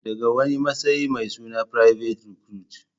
daga wani matsayi mai suna private recruit